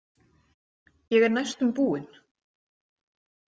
Ég er næstum búin.